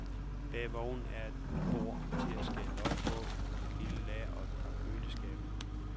Bag vognen er der et bord til at skære løg på, et lille lager og et par køleskabe.